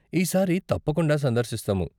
ఈ సారి తప్పకుండా సందర్శిస్తాము.